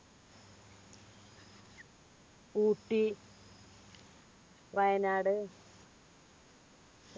Ooty Wayanad